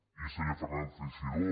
i senyor fernández teixidó